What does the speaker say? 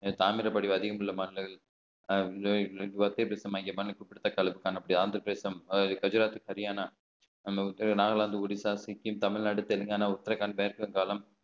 தாமிரபரணி அதிகம் உள்ள மாநிலங்கள் ஆந்திரப்பிரதேசம் குஜராத் ஹரியானா நாகாலாந்து ஒடிஷா சிக்கிம் தமிழ்நாடு தெலுங்கானா உத்தரகாண்ட்